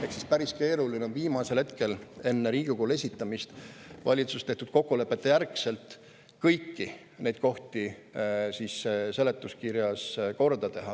Ehk päris keeruline on viimasel hetkel enne Riigikogule esitamist valitsuses tehtud kokkuleppeid järgides kõiki kohti seletuskirjas korda teha.